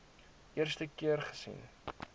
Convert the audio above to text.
eerste keer gesien